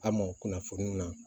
A mɔ kunnafoni na